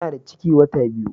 Tana da ciki wata biyu